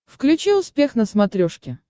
включи успех на смотрешке